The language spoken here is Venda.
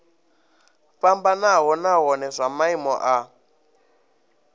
fhambanaho nahone zwa maimo a